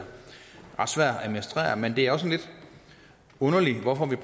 ret svær at administrere men det er også lidt underligt hvorfor vi